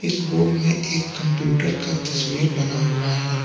इस बोर्ड मे एक कंप्यूटर का तस्वीर बना हुआ है।